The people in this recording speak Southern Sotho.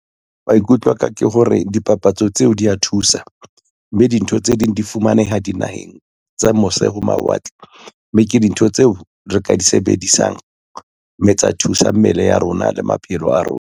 Maikutlo aka ke hore dipapatso tseo di a thusa, mme dintho tse ding di fumaneha dinaheng tsa mose ho mawatle, mme ke dintho tseo re ka di sebedisang mme tsa thusa mmele ya rona le maphelo a rona.